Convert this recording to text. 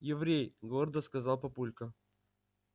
еврей гордо сказал папулька